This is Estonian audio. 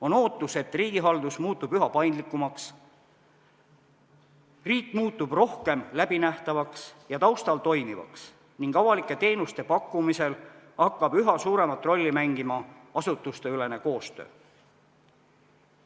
On ootus, et riigihaldus muutub üha paindlikumaks, riik muutub rohkem läbinähtavaks ja taustal toimivaks ning avalike teenuste pakkumisel hakkab üha suuremat rolli mängima asutuste koostöö.